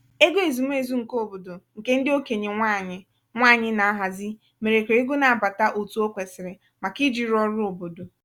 ego ezumezu nke obodo nke ndị okenye nwanyị nwanyị na-ahazi mèrè kà ego na-abata otu o kwesiri màkà iji rụọ ọrụ obodo